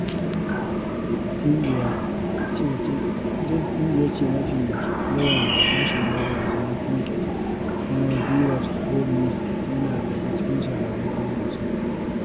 India ce ke da mafi yawan masoya wasan cricket, kuma Virat Kohli yana daga cikin shahararrun ‘yan wasa.